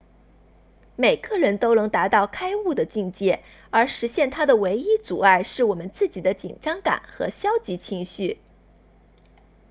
每个人都能达到开悟的境界而实现它的唯一阻碍是我们自己的紧张感和消极情绪